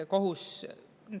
Kohus …